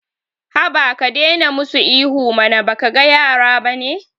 Haba ka daina musu ihu mana baka ga yara bane